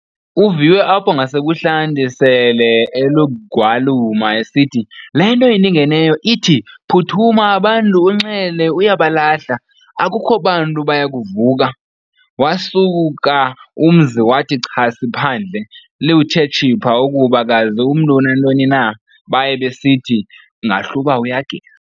Uviwe apho ngasebunhlantu sele elugwaluma esithi- "Le nto indingeneyo ithi, "phuthuma abantu uNxele uyabalahla, akukho bantu bayakuvuka!". Waasuka umzi wathi chasi phandle, liwuthe tshipha ukuba kazi umntu unantoni na, baye besithi, ngahl'uba uyageza.